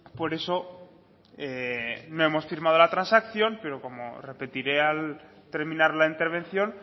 por eso no hemos firmado la transacción pero como repetiré al terminar la intervención